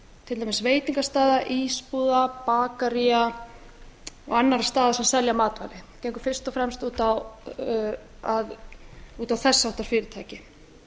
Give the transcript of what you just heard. til dæmis veitingastaða ísbúða bakaría og annarra staða sem selja matvæli gengur fyrst og fremst út á þess háttar fyrirtæki